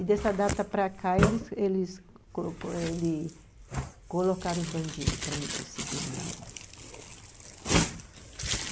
E dessa data para cá, eles eles colocou colocaram os bandidos para me perseguir na área.